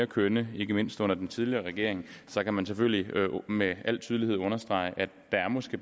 kønnere ikke mindst under den tidligere regering kan man selvfølgelig med al tydelighed understrege at der måske